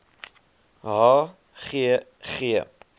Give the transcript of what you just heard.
h g g